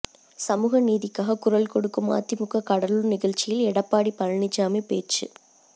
சமூக நீதிக்காக குரல் கொடுக்கும் அதிமுக கடலூர் நிகழ்ச்சியில் எடப்பாடி பழனிசாமி பேச்சு